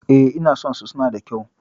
E, ina son su, suna da kyau.